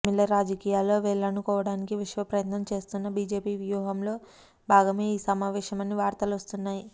తమిళ రాజకీయాల్లో వేళ్లూనుకోడానికి విశ్వ ప్రయత్నం చేస్తున్న బీజేపీవ్యూహం లో భాగమే ఈ సమావేశమని వార్తలొస్తున్నాయి